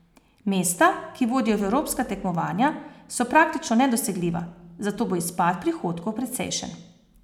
Mesta, ki vodijo v evropska tekmovanja, so praktično nedosegljiva, zato bo izpad prihodkov precejšen.